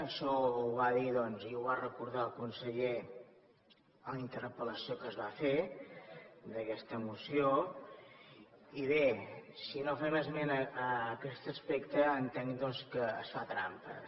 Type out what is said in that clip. això ho va dir i ho va recordar el conseller en la interpel·lació que es va fer d’aquesta moció i bé si no fem esmena a aquest aspecte entenc que es fa trampes